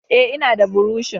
Ae, ina da burushi